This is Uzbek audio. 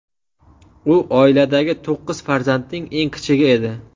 U oiladagi to‘qqiz farzandning eng kichigi edi.